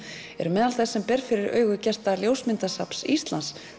eru meðal þess sem ber fyrir augu gesta ljósmyndasafns Íslands